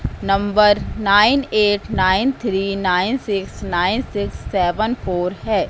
Number nine eight nine three nine six nine six seven four है।